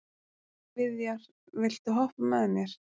Viðjar, viltu hoppa með mér?